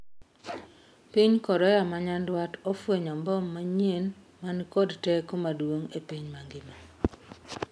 Piny Korea ma nyandwat ofwenyo mbom manyien mani kod teko maduong' e piny mangima